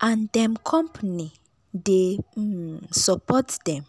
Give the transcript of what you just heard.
and dem company dey um support dem.